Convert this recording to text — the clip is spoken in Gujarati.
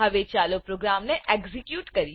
ચાલો હવે પ્રોગ્રામ એક્ઝેક્યુટ કરીએ